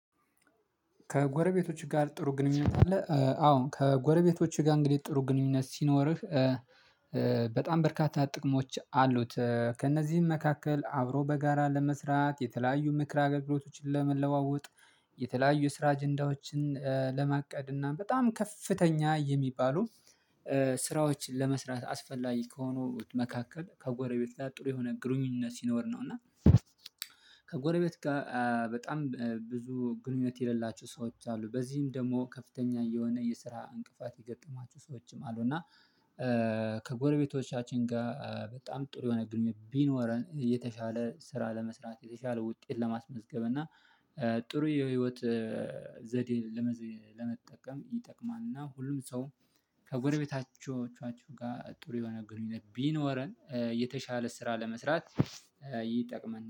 ከጎረቤቶችህ ጋር ጥሩ ግንኙነት አለ? አዎ ከጎረቤቶችህ ጋር እንግዲህ ጥሩ ግንኙነት ሲኖርህ በጣም በርካታ ጥቅሞች አሉት። ከእነዚህም መካከል አብሮ በጋራ ለመስራት የተለያዩ ምክር አገልግሎቶችን ለመለዋወጥ የተለያዩ የስራ አጀንዳዎችን ለማቀድ እና በጣም ከፍተኛ የሚባሉ ስራዎችን ለመስራት አስፈላጊ ከሆኑ መካከል ከጎረቤት ጋር ጥሩ የሆነ ግንኙነት ሲኖር ነው። እና ከጎረቤት ጋር በጣም ብዙ ግንኙነት የሌላቸው ሰዎች አሉ በዚህም ደግሞ ከፍተኛ የሆነ የስራ እንቅፋት የገጠማቸው ሰዎችም አሉ። እና ከጎረቤቶቻችን ጋር በጣም ጥሩ የሆነ ግንኙነት ቢኖረን የተሻለ ስራ ለመስራት የተሻለ ውጤት ለማስመዝገብ እና ጥሩ የህይወት ዘዴ ለመዝ ለመጠቀም ይጠቅማል። እና ሁሉም ሰው ከጎረቤታችሁቻችው ጋር ጥሩ የሆነ ግንኙነት ቢኖረን የተሻለ ስራ ለመስራት ይጠቅመናል